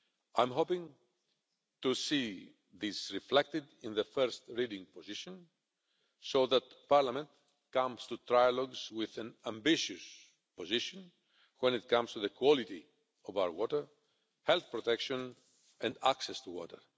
I am hoping to see this reflected in the first reading position so that Parliament comes to trilogues with an ambitious position when it comes to the quality of our water, health protection and access to water.